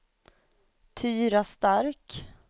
Tyra Stark